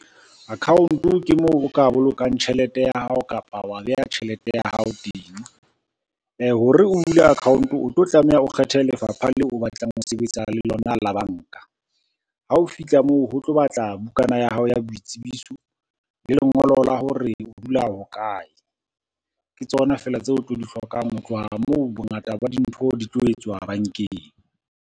Account-o ke moo o ka bolokang tjhelete ya hao kapa wa beha tjhelete ya hao teng. Ho re o bule account-o o tlo tlameha o kgethe lefapha leo o batlang ho sebetsa le lona la banka. Ha o fihla moo ho tlo batla bukana ya hao ya boitsebiso, le lengolo la hore o dula hokae, ke tsona fela tseo o tlo di hlokang ho tloha moo, bongata ba dintho di tlo etswa bankeng.